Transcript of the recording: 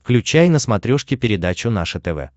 включай на смотрешке передачу наше тв